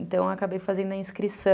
Então, eu acabei fazendo a inscrição.